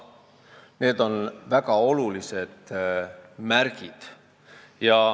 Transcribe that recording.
Need on väga olulised märgid.